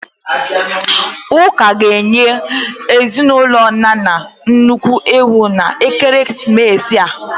Ụka ga-enye ezinụlọ Nana nnukwu ewu n'ekeresimesi a.